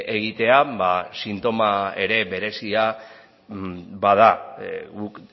egitea ba sintoma ere berezia bada guk